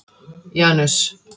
Janus